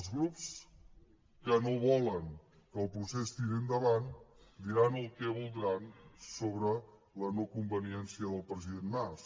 els grups que no volen que el procés tiri endavant diran el que voldran sobre la noconveniència del president mas